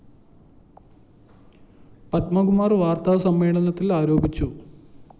പത്മകുമാര്‍ വാര്‍ത്താ സമ്മേളനത്തില്‍ ആരോപിച്ചു